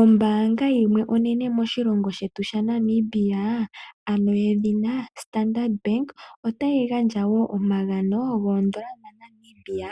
Ombaanga yimwe onene moshilongo shetu ano yedhina Standard bank otayi gandja wo omagano goondola dha Namibia